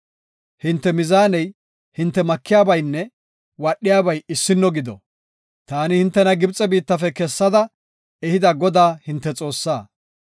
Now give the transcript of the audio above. Hinte mizaaney, hinte makiyabaynne wadhiyabay issino gido. Taani hintena Gibxe biittafe kessada ehida Godaa hinte Xoossaa.